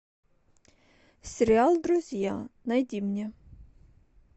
сериал друзья найди мне